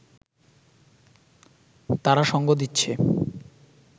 তারা সঙ্গ দিচ্ছে